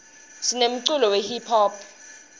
sinemculo we hiphop